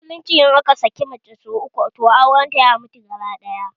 A musulunce idan aka saki mace sau uku, toh auren ya mutu gabaɗaya